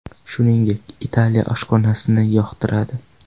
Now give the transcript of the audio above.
Shuningdek, Italiya oshxonasini yoqtiradi.